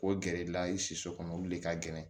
K'o gɛrɛ i la i siso olu de ka gɛlɛn